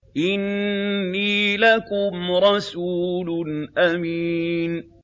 إِنِّي لَكُمْ رَسُولٌ أَمِينٌ